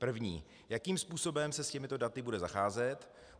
První - jakým způsobem se s těmito daty bude zacházet?